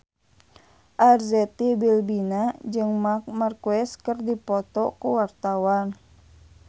Arzetti Bilbina jeung Marc Marquez keur dipoto ku wartawan